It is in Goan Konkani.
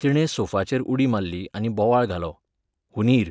तिणें सोफाचेर उडी मारली आनी बोवाळ घालो, हुंदीर!